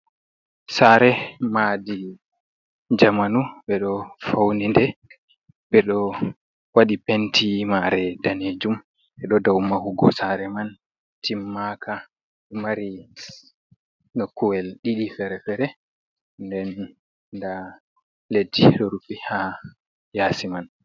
Sare madi jamanu be do faunide be do wadi penti mare danejum e do dau mahugo sare man timmaka mari nokkuwel ɗii fere-fere den da leddi do rufi ha yasi man.